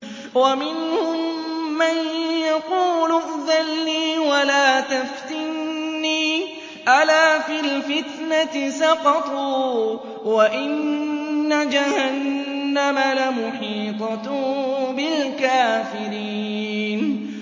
وَمِنْهُم مَّن يَقُولُ ائْذَن لِّي وَلَا تَفْتِنِّي ۚ أَلَا فِي الْفِتْنَةِ سَقَطُوا ۗ وَإِنَّ جَهَنَّمَ لَمُحِيطَةٌ بِالْكَافِرِينَ